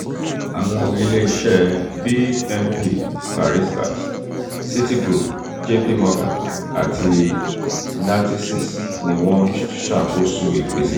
um awọn ileeṣẹ bnp paribas citigroup jp morgan ati natixis ni wọn n ṣakoso ipese naa.